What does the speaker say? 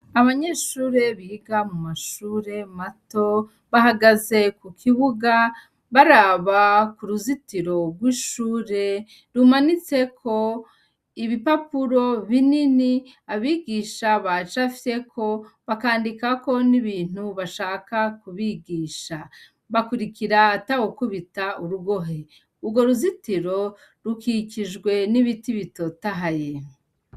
Abanyeshure biga mu mashure mato bahagaze ku kibuga baraba ku ruzitiro rw'ishure rumanitseko ibipapuro binini abigisha baca fyeko bakandikako n'ibintu bashaka kubigishabe riki raata wukubita urugohe urwo ruzitiro rukikijwe n'ibiti bitotahaye.